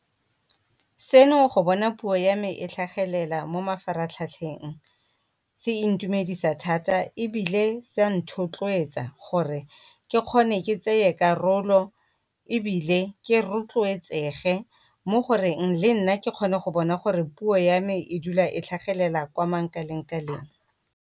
Seno go bona puo ya me e tlhagelela mo mafaratlhatlheng, se e ntumedisa thata ebile se nthotloetsa, gore ke kgone ke tseye karolo ebile ke rotloetsege mo goreng le nna ke kgone go bona gore puo ya me e dula e tlhagelela kwa mankaleng-kaleng.